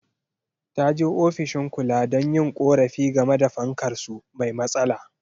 Ta je ofishin kula don yin korafi game da fankar su mai matsala.